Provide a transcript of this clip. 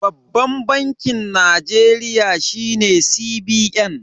Babban bankin Najeriya shine CBN.